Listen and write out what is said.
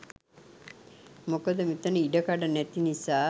මොකද මෙතන ඉඩකඩ නැති නිසා